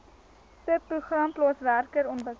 subprogram plaaswerker ontwikkeling